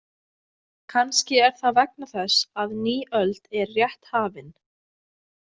Kannski er það vegna þess að ný öld er rétt hafin.